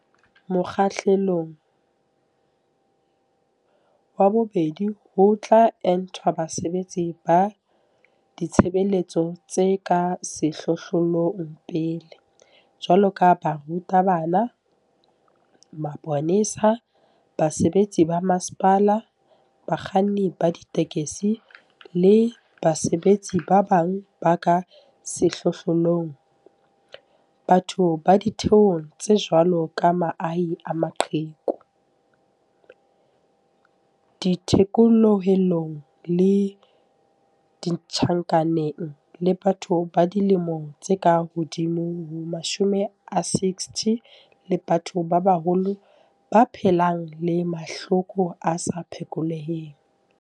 Mokgahlelong wa bobedi ho tla entwa basebetsi ba ditshebeletso tse ka sehlohlolong pele, jwalo ka baruta bana, maponesa, basebetsi ba masepala, bakganni ba ditekesi le basebetsi ba bang ba ka sehlohlolong, batho ba ditheong tse jwalo ka mahae a maqheku, dithekolohelong le ditjhankaneng, le batho ba dilemo tse ka hodimo ho 60 le batho ba baholo ba phelang le mahloko a sa phekoleheng.